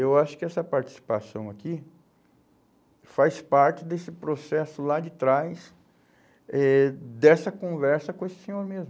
Eu acho que essa participação aqui faz parte desse processo lá de trás, eh dessa conversa com esse senhor mesmo.